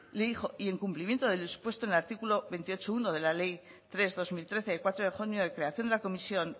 le dijo y en cumplimiento de lo dispuesto en artículo veintiocho punto uno de la ley tres barra dos mil trece de cuatro de junio de creación de la comisión